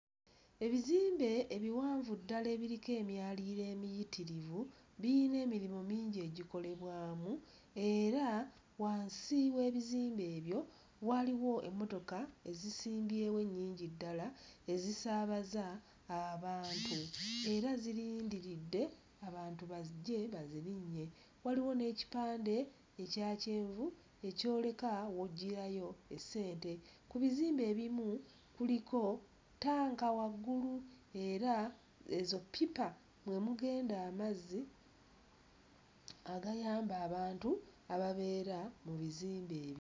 Ebizimbe ebiwanvu ddala ebiriko emyaliriro emiyitirivu biyina emirimu mingi egikolebwamu era wansi w'ebizimbe ebyo waaliwo emmotoka ezisimbyewo ennyingi ddala ezisaabaza abantu era zirindiridde abantu bajje bazirinnye waliwo n'ekipande ekya kyenvu ekyoleka w'oggyirayo ssente. Ku bizimbe ebimu kuliko ttanka waggulu era ezo ppipa mwe mugenda amazzi agayamba abantu ababeera mu bizimbe.